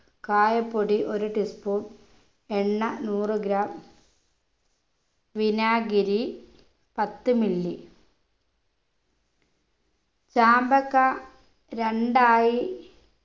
കായപ്പൊടി ഒരു tea spoon എണ്ണ നൂറു gram വിനാഗിരി പത്തു milli ചാമ്പക്ക രണ്ടായി